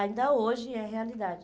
Ainda hoje é realidade.